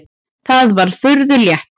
Það var furðu létt.